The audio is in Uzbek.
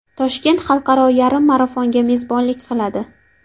Toshkent Xalqaro yarim marafonga mezbonlik qiladi.